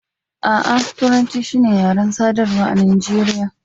A'a, Turanci shi ne yaren sadarwa a Najeriya.